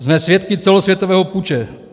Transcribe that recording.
Jsme svědky celosvětového puče.